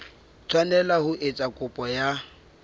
tshwanela ho etsa kopo ya